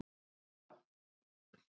Dagbjartur